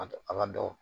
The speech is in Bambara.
A a ka dɔgɔ